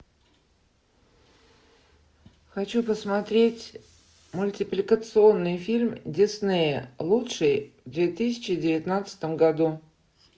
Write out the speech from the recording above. хочу посмотреть мультипликационный фильм диснея лучший в две тысячи девятнадцатом году